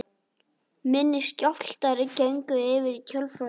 Minni skjálftar gengu yfir í kjölfarið